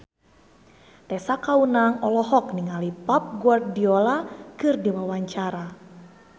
Tessa Kaunang olohok ningali Pep Guardiola keur diwawancara